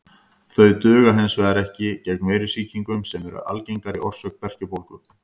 Þau duga hins vegar ekki gegn veirusýkingum sem eru algengari orsök berkjubólgu.